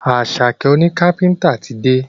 Asake òní kápẹ́ńtà tí dé.